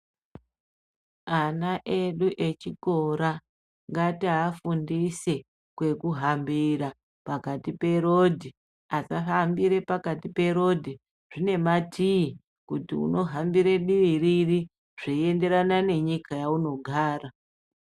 Ana edu echikora ngatiafundise kwekuhambira pakati perodhi. Asafambira pakati perodhi. Zvine matii kuti unohambire dii riri, zveienderana nenyika yaunogara.